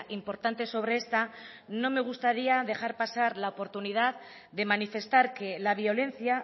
importante sobre esta no me gustaría dejar pasar la oportunidad de manifestar que la violencia